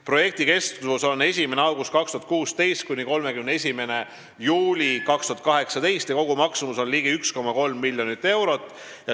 Projekt kestab 1. augustist 2016 kuni 31. juulini 2018 ja kogumaksumus on ligi 1,3 miljonit eurot.